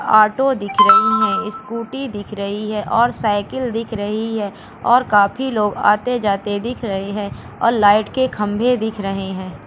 Auto दिख रही हैं स्कूटी दिख रही है और साइकिल दिख रही है और काफी लोग आते-जाते दिख रहे हैं और लाइट के खंभे दिख रहे हैं।